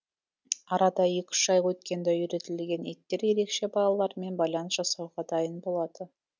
арада екі үш ай өткенде үйретілген иттер ерекше балалармен байланыс жасауға дайын болады